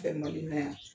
Kɛ mali la yan